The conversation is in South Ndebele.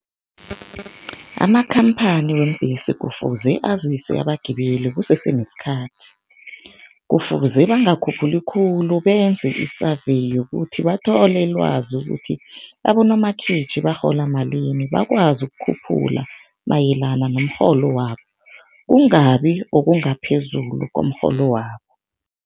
Amakhamphani weembhesi kufuze azise abagibeli kusese nesikhathi. Kufuze bangakhuphili khulu, benze i-survey yokuthi bathole ilwazi ukuthi abonomakhitjhi barhola malini bakwazi ukukhuphula mayelana nomrholo wabo, kungabi okungaphezulu komrholo wabo.